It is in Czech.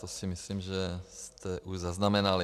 To si myslím, že jste už zaznamenali.